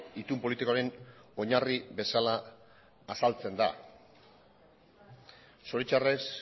itun politikoaren oinarri bezala azaltzen da zoritxarrez